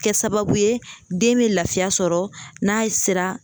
Kɛ sababu ye den bɛ lafiya sɔrɔ n'a ye sira